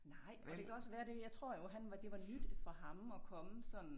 Nej men det kan også være det jeg tror jo han var det var nyt for ham at komme sådan